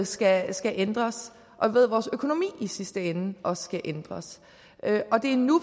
skal skal ændres og ved at vores økonomi i sidste ende også skal ændres og det er nu